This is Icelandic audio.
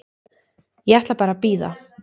Ég ætla bara að bíða.